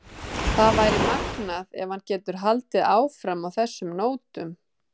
Það væri magnað ef hann getur haldið áfram á þessum nótum.